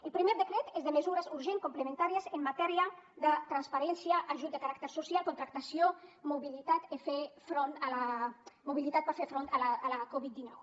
el primer decret és de mesures urgents complementàries en matèria de transparència ajuts de caràcter social contractació mobilitat per fer front a la covid dinou